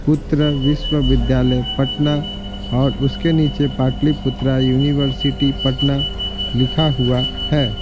पुत्र विश्वविद्यालय पटना और उसके नीचे पाटलिपुत्रा यूनिवर्सिटी पटना लिखा हुआ है।